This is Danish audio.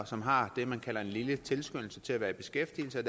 som har det man kalder en lille tilskyndelse til at være i beskæftigelse og